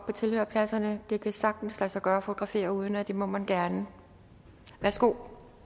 på tilhørerpladserne det kan sagtens lade sig gøre at fotografere uden og det må man gerne værsgo